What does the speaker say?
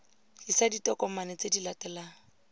tlisa ditokomane tse di latelang